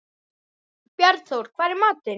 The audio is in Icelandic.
Bjarnþór, hvað er í matinn?